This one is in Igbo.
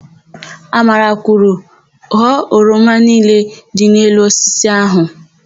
Amara kwuru, "ghọọ oroma niile dị n'elu osisi áhụ̀"!